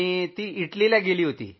ते इटलीला गेले होते